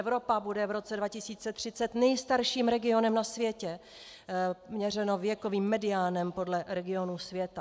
Evropa bude v roce 2030 nejstarším regionem na světě, měřeno věkovým mediánem podle regionů světa.